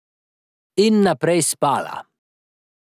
In naprej spala.